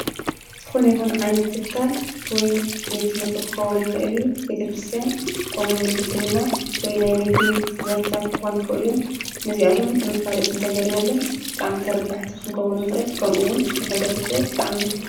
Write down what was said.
ዝኾነ ይኹን ዓይነት ትካል ወይ ቤት ትምህርቲ ክኸዉን ይኽእል እዩ ቤተ ክርስትያን ከምኡ ዉን ሕክምና ወይ ናይ ንግዲ ዘርፍታት ክኾኑ ይኽእሉ እዮም። ነዚኣቶም መፋለጢ እንተገይርናሎም ብጣዕሚ ተርባሕቲ ክንከዉን ንክእል ከምኡ ዉን ንሕብረተሰብ ብጣዕሚ